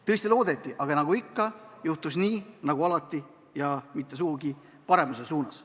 Tõesti loodeti, aga nagu ikka, juhtus nii nagu alati, ja mitte sugugi paremuse suunas.